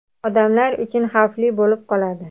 odamlar uchun xavfli bo‘lib qoladi.